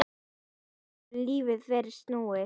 Svona getur lífið verið snúið.